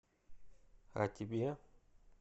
а тебе